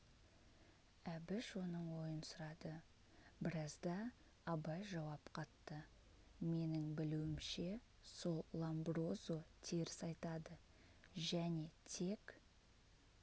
әбіш оның ойын сұрады біразда абай жауап қатты менің білуімше сол ломброзо теріс айтады және тек